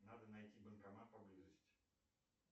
надо найти банкомат поблизости